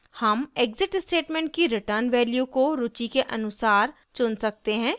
हम exit statement की return value को रुचि के अनुसार चुन सकते हैं